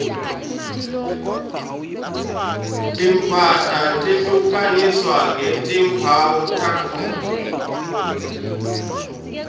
timphahla tehlukaniswa ngetimphawu takhona